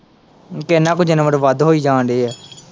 ਕਿੰਨਾਂ ਕੁੱਝ ਇੰਨਾਂ ਬਰਬਾਦ ਹੋਈ ਜਾਣ ਦਿਆਂ।